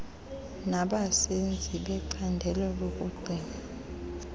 nabasenzi becandelo lokugcinwa